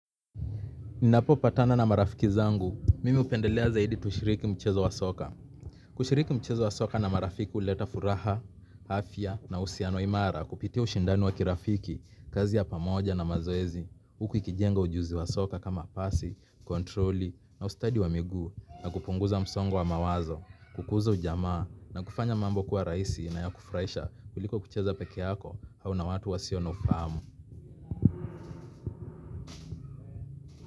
Ninapopatana na marafiki zangu, mimi hupendelea zaidi tushiriki mchezo wa soka. Kushiriki mchezo wa soka na marafiki uleta furaha, afya na usiano imara kupitiq ushindani wa kirafiki, kazi ya pamoja na mazoezi, uku ikijenga ujuzi wa soka kama pasi, kontroli na ustadi wa miguu na kupunguza msongo wa mawazo, kukuza ujamaa na kufanya mambo kuwa raisi na ya kufuraisha kuliko kucheza peke yako au na watu wasio na ufahamu.